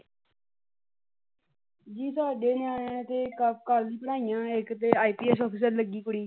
ਜੀ ਸਾਡੇ ਨਿਆਣਿਆ ਨੇ ਤੇ ਕਰਲੀਆ ਪੜ੍ਹਾਈਆਂ ਇੱਕ ਤੇ ਆਈ ਪੀ ਐਸ ਆਫਿਸਰ ਲੱਗੀ ਕੁੜੀ।